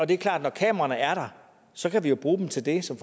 det er klart at når kameraerne er der så kan vi jo bruge dem til det som